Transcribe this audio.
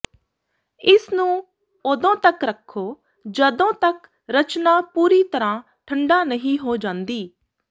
ਇਸ ਨੂੰ ਉਦੋਂ ਤੱਕ ਰੱਖੋ ਜਦੋਂ ਤੱਕ ਰਚਨਾ ਪੂਰੀ ਤਰਾਂ ਠੰਢਾ ਨਹੀਂ ਹੋ ਜਾਂਦੀ